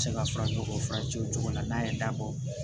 Se ka fara ɲɔgɔn furancɛ o cogo la n'a ye dabɔ